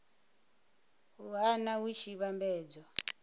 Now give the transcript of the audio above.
a nha hu tshi vhambedzwa